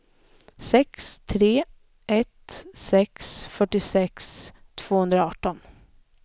sex tre ett sex fyrtiosex tvåhundraarton